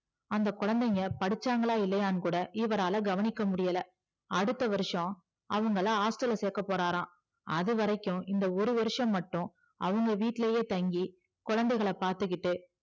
அந்த குழந்தைங்க படிச்சாங்கள இல்லையானு கூட இவரால கவனிக்க முடியல அடுத்த வருஷம் அவங்கள hostel ல சேக்க போறார அதுவரைக்கும் இந்த ஒருவருஷம் மட்டும் அவங்க வீட்டுலையே தங்கி குழந்தைகளா பாத்துகிட்டு